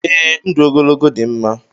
Ee, ndụ ogologo dị mma